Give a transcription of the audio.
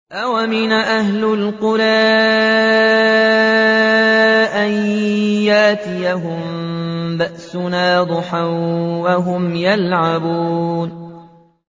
أَوَأَمِنَ أَهْلُ الْقُرَىٰ أَن يَأْتِيَهُم بَأْسُنَا ضُحًى وَهُمْ يَلْعَبُونَ